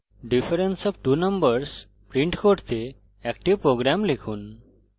difference of two numbers print করতে একটি program লিখুন